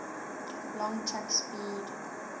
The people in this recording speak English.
long track speed